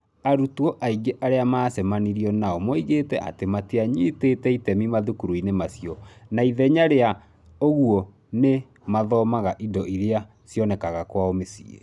Arutwo aingĩ arĩa maacemanirio nao moigĩte atĩ matianyitĩte itemi mathukuru-inĩ macio na ithenya rĩa ũguo nĩ mathomaga indo iria cionekaga kwao mĩciĩ.